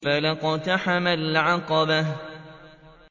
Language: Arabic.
فَلَا اقْتَحَمَ الْعَقَبَةَ